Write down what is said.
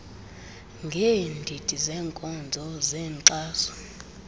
ngeendidi zeenkonzo zenkxaso